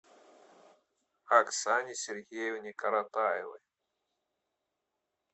оксане сергеевне коротаевой